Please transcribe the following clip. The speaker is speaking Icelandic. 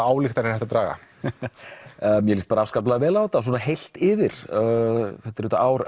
ályktanir er hægt að draga mér líst afskaplega vel á þetta svona heilt yfir þetta er auðvitað ár